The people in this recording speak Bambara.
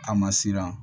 A ma siran